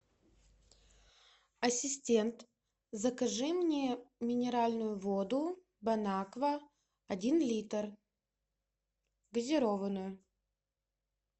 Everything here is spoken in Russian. ассистент закажи мне минеральную воду бон аква один литр газированную